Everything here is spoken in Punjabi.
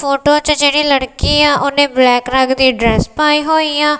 ਫ਼ੋਟੋ ਚ ਜੇਹੜੀ ਲੜਕੀ ਹੈ ਓਹਨੇ ਬਲੈਕ ਰੰਗ ਦੀ ਡਰੈੱਸ ਪਾਈ ਹੋਈ ਆ।